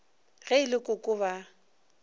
ge e le koko ba